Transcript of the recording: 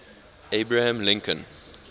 abraham lincoln